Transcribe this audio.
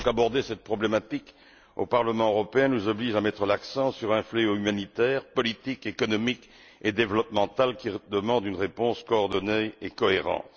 L'examen de cette problématique au Parlement européen nous oblige donc à mettre l'accent sur un fléau humanitaire, politique, économique et développemental qui demande une réponse coordonnée et cohérente.